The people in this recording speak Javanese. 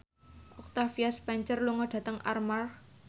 Octavia Spencer lunga dhateng Armargh